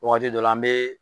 Waati dɔ la an bɛ